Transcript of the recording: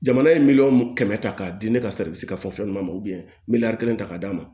Jamana ye miliyɔn kɛmɛ ta k'a di ne ka sari ka fɔ fɛn dɔ ma miliyɔn kelen ta k'a d'a ma